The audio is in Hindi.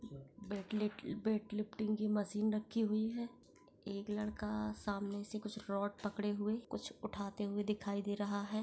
टेव वेट लिफ्टिंग की मशीन रखी हुई है एक लड़का सामने से कुछ रोड पकडे हुए है कुछ उठाते हुए दिखाई दे रहा है|